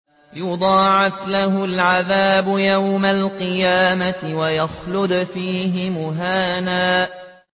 يُضَاعَفْ لَهُ الْعَذَابُ يَوْمَ الْقِيَامَةِ وَيَخْلُدْ فِيهِ مُهَانًا